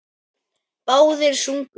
Báðir sungu.